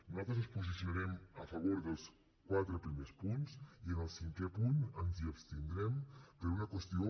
nosaltres ens posicionarem a favor dels quatre primers punts i en el cinquè punt ens abstindrem per una qüestió